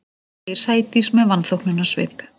segir Sædís með vanþóknunarsvip.